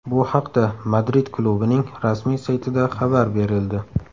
Bu haqda Madrid klubining rasmiy saytida xabar berildi .